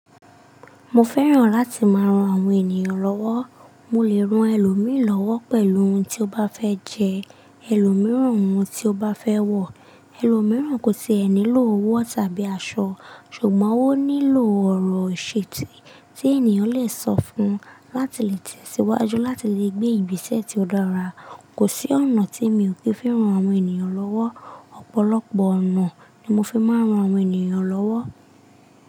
Mo fẹ́ràn láti máa rán àwọn ènìyàn lọ́wọ́. Mo lè rán ẹlòmíràn lọ́wọ́ pẹ̀lú ohun tí ó bá fẹ́ jẹ, ẹlòmíràn ohun tí ó bá fẹ́ wọ̀, ẹlòmíràn kò tí ẹ nílò owó tàbí aṣọ, ṣùgbọ́n ó nílò ọ̀rọ̀ ìṣìtí tí ènìyàn lè sọ fún un láti lè tẹ̀síwájú, láti lè gbé ibi iṣẹ́ tí ó dára. Kò sí ọ̀nà tí mi ò kí ń fi rán àwọn ènìyàn lọ́wọ́. Ọ̀pọ̀lọpọ̀ ọ̀nà ni mo fi máa ń rán àwọn ènìyàn lọ́wọ́.